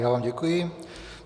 Já vám děkuji.